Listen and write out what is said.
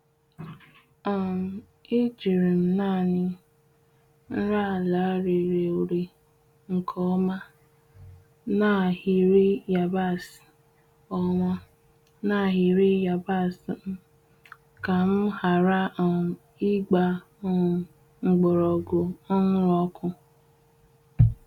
um E jiri m naanị nri ala rere ure nke ọma n’ahịrị yabasị ọma n’ahịrị yabasị m ka m ghara um ịgba um mgbọrọgwụ ọhụrụ ọkụ.